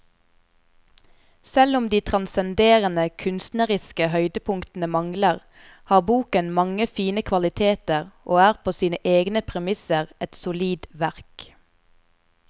Selv om de transcenderende kunstneriske høydepunktene mangler, har boken mange fine kvaliteter og er på sine egne premisser et solid verk.